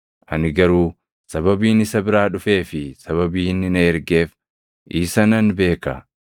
ani garuu sababiin isa biraa dhufee fi sababii inni na ergeef isa nan beeka.”